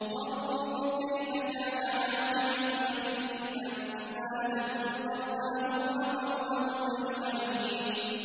فَانظُرْ كَيْفَ كَانَ عَاقِبَةُ مَكْرِهِمْ أَنَّا دَمَّرْنَاهُمْ وَقَوْمَهُمْ أَجْمَعِينَ